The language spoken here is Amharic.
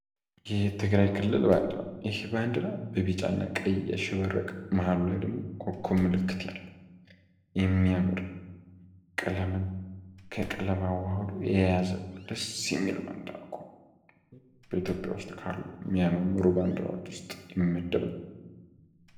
የትግራይ ክልል ባንድራ ይህ ባንድራ በቢጫ እና ቀይ ያሸበረቀ መሀል ላይ ኮኮብ ምልክት ያለው የሚያምር ቀለምን ከቀለም አዋህዶ የያዘ ደስ የሚል ነው። በኢትዮጵያ ውስጥ ካሉ የሚያማምሩ ባንድራዎች ውስጥ የሚመደብ ነው።